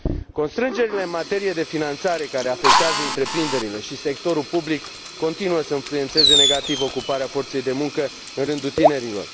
Constrângerile în materie de finanțare, care afectează întreprinderile și sectorul public, continuă să influențeze negativ ocuparea forței de muncă în rândul tinerilor.